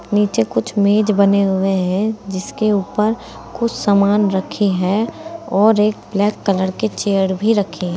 नीचे कुछ मेज बने हुए हैं जिसके ऊपर कुछ सामान रखे हैं और एक ब्लैक कलर के चेयर भी रखे--